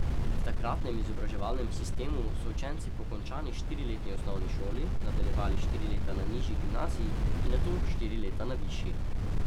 V takratnem izobraževalnem sistemu so učenci po končani štiriletni osnovni šoli nadaljevali štiri leta na nižji gimnaziji in nato štiri leta na višji.